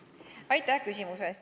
Aitäh küsimuse eest!